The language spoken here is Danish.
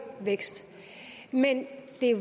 vækst men det er